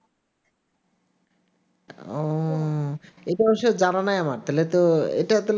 ও এইটা অবশ্য জানা নাই আমার তাহলে তো